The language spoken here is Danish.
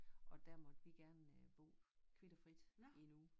Og der måtte vi gerne øh bo kvit og frit i en uge